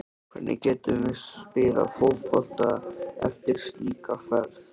Hvernig getum við spilað fótbolta eftir slíka ferð?